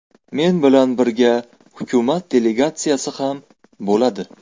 Men bilan birga hukumat delegatsiyasi ham bo‘ladi.